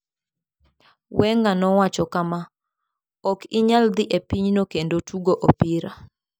Wenger nowacho kama, "Ok inyal dhi e pinyno kendo tugo opira.